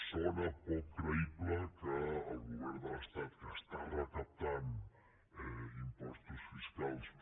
sona poc creïble que el govern de l’estat que està recaptant impostos fiscals per